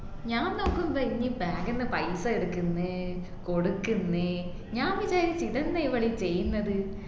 ഞാൻ നോക്കുമ്പോ ഇഞ് bag ന്ന് പൈസ എടുക്കുന്ന് കൊടുക്കുന്ന് ഞാൻ വിചാരിച്ചീ ഇതെന്നാ ഇവൾ ഈ ചെയ്യുന്നത്